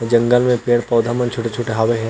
जंगल में पेड़-पौधा मन छोटे-छोटे हावय हे।